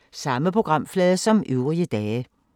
Samme programflade som øvrige dage